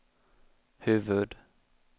huvud-